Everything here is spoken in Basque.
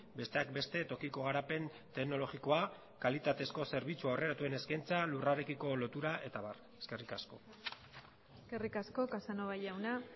besteak beste tokiko garapen teknologikoa kalitatezko zerbitzu aurreratuen eskaintza lurrarekiko lotura eta abar eskerrik asko eskerrik asko casanova jauna